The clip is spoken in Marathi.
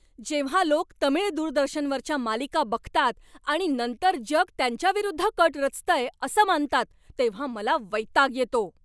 जेव्हा लोक तमिळ दूरदर्शनवरच्या मालिका बघतात आणि नंतर जग त्यांच्याविरुद्ध कट रचतंय असं मानतात तेव्हा मला वैताग येतो.